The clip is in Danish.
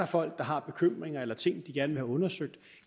folk der har bekymringer eller ting de gerne vil have undersøgt